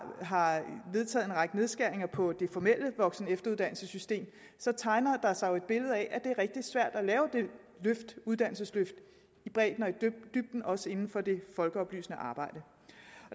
vedtaget en række nedskæringer på det formelle voksen og efteruddannelsessystem så tegner der sig jo et billede af at det er rigtig svært at lave det uddannelsesløft i bredden og i dybden også inden for det folkeoplysende arbejde